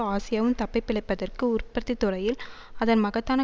ஆசியாவும் தப்பி பிழைப்பதற்கு உற்பத்தி துறையில் அதன் மகத்தான